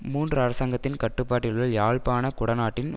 மூன்றுஅரசாங்கத்தின் கட்டுப்பாட்டில் உள்ள யாழ்ப்பாண குடாநாட்டின்